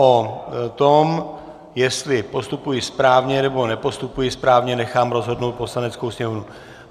O tom, jestli postupuji správně, nebo nepostupuji správně, nechám rozhodnout Poslaneckou sněmovnu.